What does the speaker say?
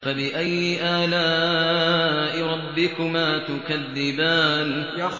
فَبِأَيِّ آلَاءِ رَبِّكُمَا تُكَذِّبَانِ